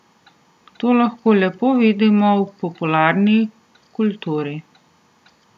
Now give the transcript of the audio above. To lahko lepo vidimo v popularni kulturi.